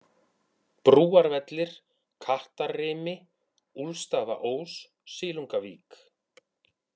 Brúarvellir, Kattarrimi, Úlfstaðaós, Silungavík